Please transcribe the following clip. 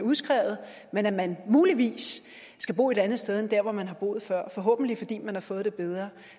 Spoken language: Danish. udskrevet men at man muligvis skal bo et andet sted end der hvor man har boet før forhåbentlig fordi man har fået det bedre